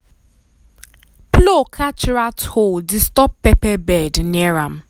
plow catch rat hole disturb pepper bed near am.